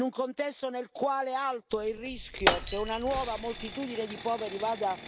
In un contesto nel quale alto è il rischio che una nuova moltitudine di poveri vada